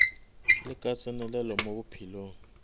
le ka tsenelelo mo bophelong